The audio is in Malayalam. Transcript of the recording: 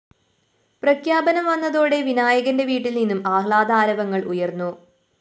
പ്രഖ്യാപനം വന്നതോടെ വിനായകന്റെ വീട്ടില്‍ നിന്നും ആഹ്ലാദ ആരവങ്ങള്‍ ഉയര്‍ന്നു